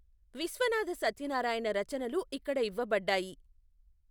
విశ్వనాథ సత్యనారాయణ రచనలు ఇక్కడ ఇవ్వబడ్డాయి.